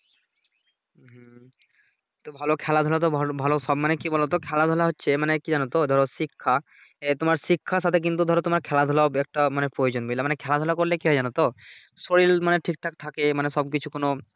হুম তো ভালো খেলাধুলা তো ভালো ভালো মানে কি বলোতো খেলাধুলা হচ্ছে মানে কি জানতো ধরো শিক্ষা আহ তোমার শিক্ষার সাথে কিন্তু ধরো তোমার খেলাধুলা ও হবে একটা মানে প্রয়োজন বুঝলা মানে খেলাধুলা করলে কি জানতো ও শরীর মানে ঠিকঠাক থাকে মানে সব কিছু কোন